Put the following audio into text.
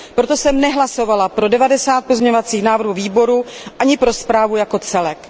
Proto jsem nehlasovala pro devadesát pozměňovacích návrhů výboru, ani pro zprávu jako celek.